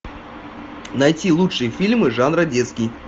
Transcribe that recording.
найти лучшие фильмы жанра детский